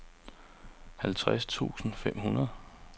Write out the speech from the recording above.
halvtreds tusind fem hundrede